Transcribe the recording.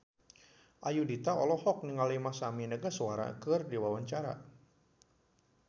Ayudhita olohok ningali Masami Nagasawa keur diwawancara